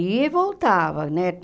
Ia e voltava, né?